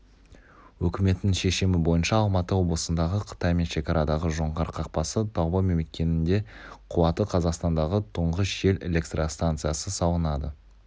үкіметтің шешімі бойынша алматы облысындағы қытаймен шекарадағы жоңғар қақпасы таулы мекенінде қуаты қазақстандағы тұңғыш жел электрстанциясы салынады